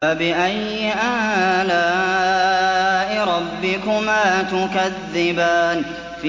فَبِأَيِّ آلَاءِ رَبِّكُمَا تُكَذِّبَانِ